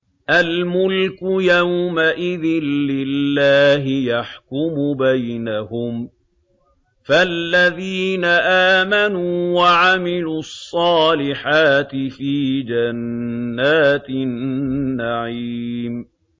الْمُلْكُ يَوْمَئِذٍ لِّلَّهِ يَحْكُمُ بَيْنَهُمْ ۚ فَالَّذِينَ آمَنُوا وَعَمِلُوا الصَّالِحَاتِ فِي جَنَّاتِ النَّعِيمِ